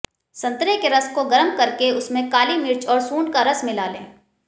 संतरे के रस को गर्म करके उसमें काली मिर्च और सूंड का रस मिला लें